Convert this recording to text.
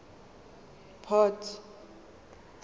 port